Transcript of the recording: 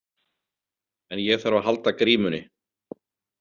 En ég þarf að halda grímunni.